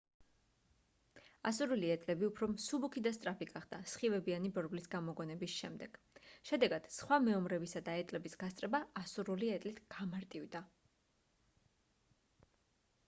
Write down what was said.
ასურული ეტლები უფრო მსუბუქი და სწრაფი გახდა სხივებიანი ბორბლის გამოგონების შემდეგ შედეგად სხვა მეომრებისა და ეტლების გასწრება ასურული ეტლით გამარტივდა